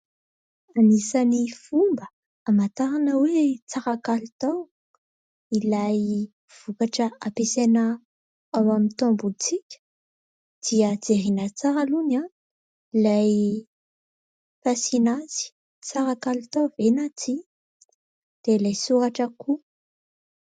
Anisan'ny fomba hamantarana hoe : tsara kalitao ilay vokatra ampiasaina ao amin'ny tombontsika dia jerena tsara aloha ny ilay fasiana azy, tsara kalitao ve na tsia dia ilay soratra koa.